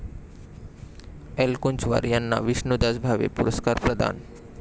एलकुंचवार यांना विष्णुदास भावे पुरस्कार प्रदान